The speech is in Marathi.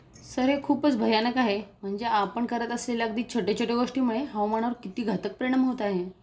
सर हे खूपच भयानक आहे म्हणजे आपण करत असेल्या अगदी छोटय़ा छोटय़ा गोष्टींमुळे हवामानावर किती घातक परिणाम होत आहे!